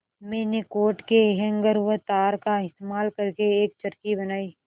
मैंने कोट के हैंगर व तार का इस्तेमाल करके एक चरखी बनाई